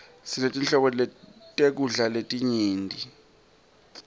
sinetinhlobo tekudla letinyenti